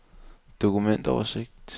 dokumentoversigt